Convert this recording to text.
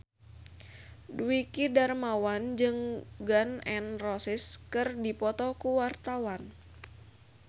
Dwiki Darmawan jeung Gun N Roses keur dipoto ku wartawan